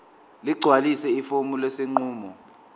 ligcwalise ifomu lesinqumo